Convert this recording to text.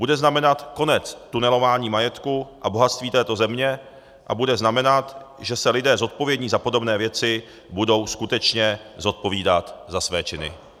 Bude znamenat konec tunelování majetku a bohatství této země a bude znamenat, že se lidé zodpovědní za podobné věci budou skutečně zodpovídat za své činy.